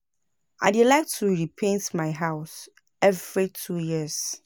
I dey like to repaint my house every two years.